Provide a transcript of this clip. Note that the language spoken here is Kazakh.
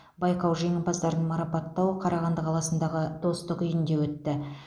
байқау жеңімпаздарын марапаттау қарағанды қаласындағы достық үйінде өтті